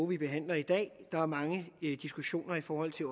vi behandler i dag der er mange diskussioner i forhold til